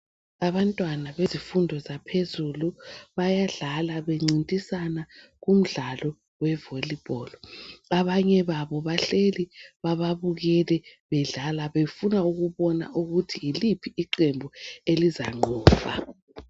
Abantwana bezifundo zaphezulu bayadlala bencintisana kumdlalo we "volleyball" abanye babo bahleli bababukele bedlala bafuna ukubona ukuthi yiliphi iqembu elizanqoba.